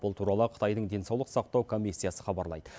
бұл туралы қытайдың денсаулық сақтау комиссиясы хабарлайды